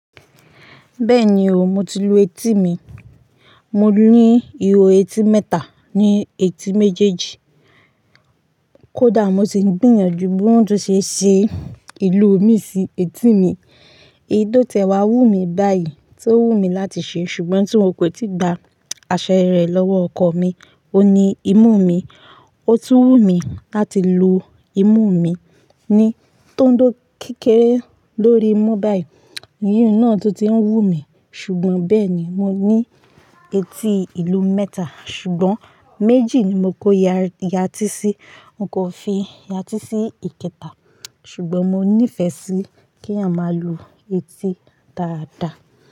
Bẹ́ẹ̀ni o, mo ti lu etí mi. Mo ní ihò etí mẹ́ta ní etí méjèèjì. Kódà mo si ń gbìyànjú bóhùn tun ṣe ṣe ìlú mi sí etí mi. Èyí tó tẹ̀wá wú mi báyìí tó wù mí láti ṣe. Ṣùgbọ́n tí wọn kò tíì gba àṣẹ rẹ̀ lọ́wọ́ ọkọ mi, ó ní imú mi. Ó tún wù mí láti lu imú mi ni tó ń dó kékeré lórí mú báyìí. Iyùn náà tún ti ń wú mi. Ṣùgbọ́n bẹ́ẹ̀ ni mo ní etí ìlú mẹ́ta, ṣùgbọ́n méjì ni mo kó yá tí sí. N kò fi yá tí sí ìkẹta. Ṣùgbọ́n mo nífẹ̀ẹ́ sí kí a máa lu etí dáadáa.